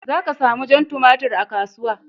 Za ka sami jan tumatir a kasuwa.